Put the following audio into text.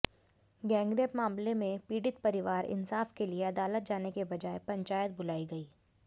gangrape मामले में पीडित परिवार इंसाफ के लिए अदालत जाने के बजाय पंचायत बुलाई गई